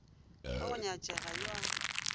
wa go nyatšega yo a